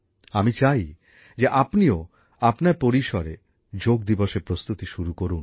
আমি চাই যে আপনিও আপনার পরিসরে যোগ দিবসের প্রস্তুতি শুরু করুন